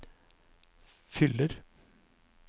fyller